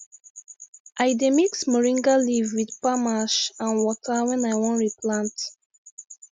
i dey mix moringa leaf with palm ash and water when i wan replant